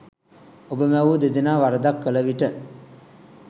ඔබ මැවූ දෙදෙනා වරදක් කළ විට